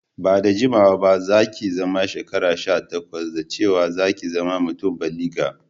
Ba'da jimawa ba za'ki zama shekara sha takwas, da cewa za'ki zama mutum báligi.